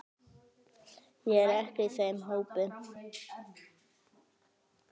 Ég er ekki í þeim hópi.